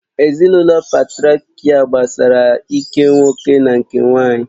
Ezinụlọ Patrịakial gbasara ike nwoke na nketa